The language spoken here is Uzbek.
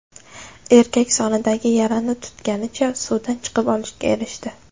Erkak sonidagi yarani tutganicha suvdan chiqib olishga erishdi.